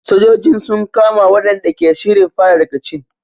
Sojojin sun kama waɗanda ke shirin fara rikicin.